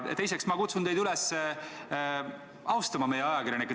Teiseks, ma kutsun teid üles austama meie ajakirjanikke.